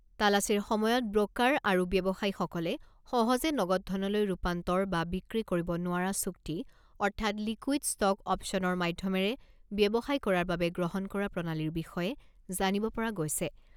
তালাচীৰ সময়ত ব্ৰকাৰ আৰু ব্যৱসায়ীসকলে সহজে নগদ ধনলৈ ৰূপান্তৰ বা বিক্ৰী কৰিব নোৱাৰা চুক্তি অৰ্থাৎ লিকুইদ ষ্ট'ক অ'পচনৰ মাধ্যমেৰে ব্যৱসায় কৰাৰ বাবে গ্ৰহণ কৰা প্ৰণালীৰ বিষয়ে জানিব পৰা গৈছে।